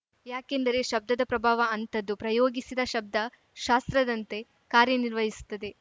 ಯಾಕೆಂದರೆ ಶಬ್ದದ ಪ್ರಭಾವ ಅಂತದ್ದು ಪ್ರಯೋಗಿಸಿದ ಶಬ್ದ ಶಾಸ್ತ್ರದಂತೆ ಕಾರ್ಯ ನಿರ್ವಹಿಸುತ್ತದೆ